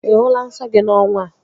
Ị hụla nsọ gị n'ọnwa a?